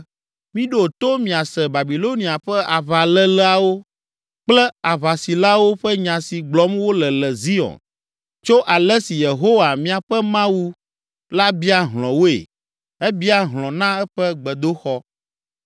Miɖo to miase Babilonia ƒe aʋaléleawo kple aʋasilawo ƒe nya si gblɔm wole le Zion tso ale si Yehowa, míaƒe Mawu la bia hlɔ̃ woe, ebia hlɔ̃ na eƒe gbedoxɔ.